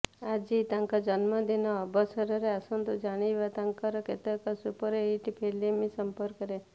ଆଜି ତାଙ୍କ ଜନ୍ମଦିନ ଅବସରରେ ଆସନ୍ତୁ ଜାଣିବା ତାଙ୍କର କେତେକ ସୁପରହିଟ ଫିଲ୍ମ ସଂପର୍କରେ